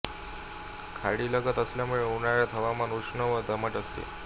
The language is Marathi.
खाडीलगत असल्यामुळे उन्हाळ्यात हवामान उष्ण व दमट असते